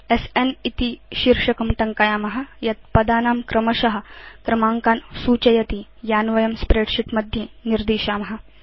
स्न इति शीर्षकं टङ्कयाम यत् पदानां क्रमश क्रमाङ्कान् सूचयति यान् वयं स्प्रेडशीट् मध्ये निर्दिशाम